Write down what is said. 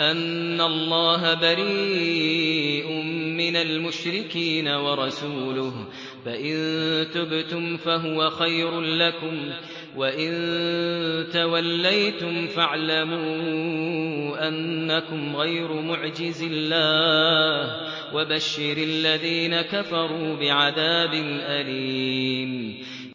أَنَّ اللَّهَ بَرِيءٌ مِّنَ الْمُشْرِكِينَ ۙ وَرَسُولُهُ ۚ فَإِن تُبْتُمْ فَهُوَ خَيْرٌ لَّكُمْ ۖ وَإِن تَوَلَّيْتُمْ فَاعْلَمُوا أَنَّكُمْ غَيْرُ مُعْجِزِي اللَّهِ ۗ وَبَشِّرِ الَّذِينَ كَفَرُوا بِعَذَابٍ أَلِيمٍ